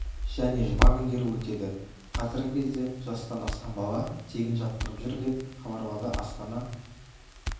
және жұма күндері өтеді қазіргі кезде жастан асқан бала тегін жаттығып жүр деп хабарлады астана